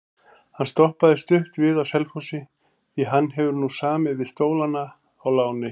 Hann stoppaði stutt við á Selfossi því hann hefur nú samið við Stólana á láni.